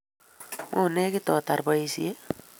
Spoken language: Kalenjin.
Mo negit ko tar boishet